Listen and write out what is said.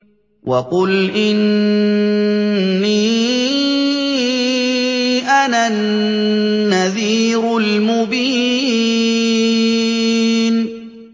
وَقُلْ إِنِّي أَنَا النَّذِيرُ الْمُبِينُ